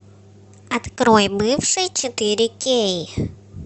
открой бывший четыре кей